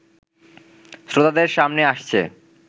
শ্রোতাদের সামনে আসছে